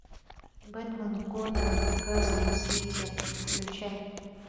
бэтмен готэм в газовом свете включай